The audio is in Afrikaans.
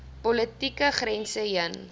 politieke grense heen